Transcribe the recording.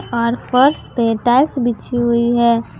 और फर्श पे टाइल्स बिछी हुई है।